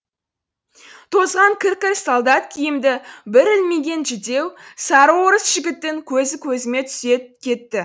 тозған кір кір солдат киімді бір ілмиген жүдеу сары орыс жігіттің көзі көзіме түсе кетті